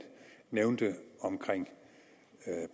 nævnte om